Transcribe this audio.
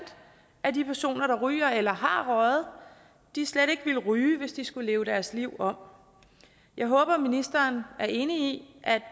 af de personer der ryger eller har røget slet ikke ville ryge hvis de skulle leve deres liv om jeg håber ministeren er enig